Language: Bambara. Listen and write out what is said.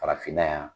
Farafinna yan